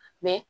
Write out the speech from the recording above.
Mɛ